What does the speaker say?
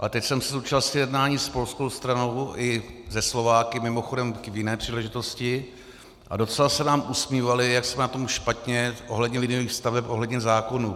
A teď jsem se zúčastnil jednání s polskou stranou i se Slováky, mimochodem k jiné příležitosti, a docela se nám usmívali, jak jsme na tom špatně ohledně liniových staveb, ohledně zákonů.